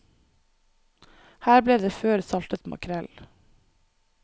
Her ble det før saltet makrell.